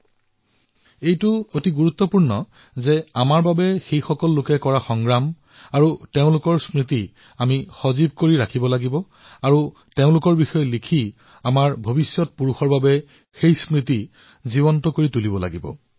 এনে ক্ষেত্ৰত আমাৰ বাবে এয়া অতিশয় গুৰুত্বপূৰ্ণ যে তেওঁলোকৰ সেই সংঘৰ্ষ আৰু তেওঁলোকৰ সৈতে জড়িত সেই স্মৃতিসমূহ সংৰক্ষিত কৰি তেওঁলোকৰ বিষয়ে লিখি আমি আমাৰ আগন্তুক প্ৰজন্মলৈ যাতে সাঁচি ৰাখিব পাৰো